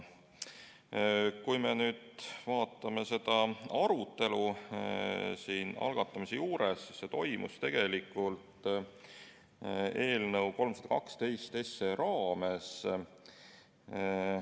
Kui me nüüd vaatame selle teema arutelu, siis see toimus tegelikult eelnõu 312 menetlemise raames.